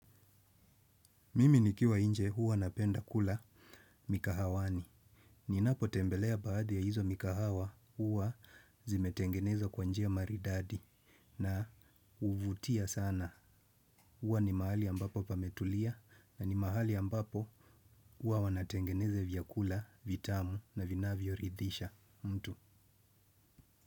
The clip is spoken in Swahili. Mimi nikiwa inje huwa napenda kula mikahawani. Ninapo tembelea baadhi ya hizo mikahawa huwa zimetengenezwa kwa njia maridadi na huvutia sana huwa ni mahali ambapo pametulia na ni mahali ambapo huwa wanatengeneza vyakula, vitamu na vinavyo ridhisha mtu.